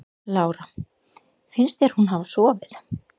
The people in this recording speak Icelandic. Lára: Finnst þér hún hafa sofið?